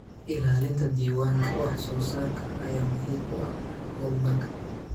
Ilaalinta diiwaanka wax soo saarka ayaa muhiim u ah horumarka.